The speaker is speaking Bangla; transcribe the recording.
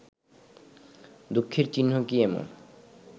দুঃখের চিহ্ন কী এমন